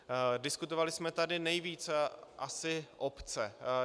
Diskutovali jsme tady nejvíc asi obce.